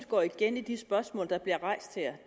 går igen i de spørgsmål der bliver rejst her